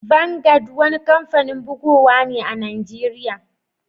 Vangad wani kampanin bugowa ne a'Nijeriya.